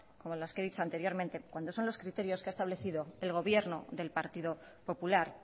como las que he dicho anteriormente cuando son los criterios que ha establecido el gobierno del partido popular